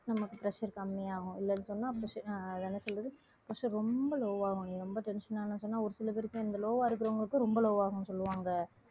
நமக்கு pressure கம்மியாகும் இல்லைன்னு சொன்னால் ஆஹ் என்ன சொல்றது pressure ரொம்ப low ஆகும் நீ ரொம்ப tension ஆனால் சொன்னால் ஒரு சில பேருக்கு இந்த low வா இருக்கிறவங்களுக்கு ரொம்ப low ஆகும்னு சொல்லுவாங்க